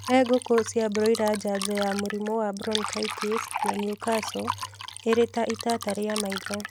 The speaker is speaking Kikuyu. He ngũkũ cia broila njanjo ya mũrimũ wa bronchitis na newcastle ĩrĩ ta itata rĩa maitho